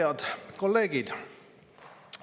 Head kolleegid!